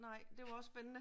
Nej, det var også spændende